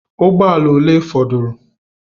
Ụgbọ ala ole fọdụrụ?